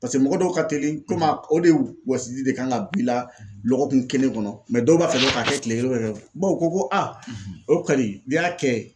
Paseke mɔgɔ dɔw ka teli koma o de wɔsiji de kan ka b'i la lɔgɔkun kelen kɔnɔ mɛ dɔw b'a fɛ dɔrɔn k'a kɛ tile kelen bawo ko ko o kɔni n'i y'a kɛ .